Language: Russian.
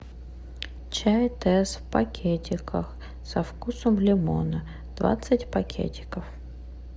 чай тесс в пакетиках со вкусом лимона двадцать пакетиков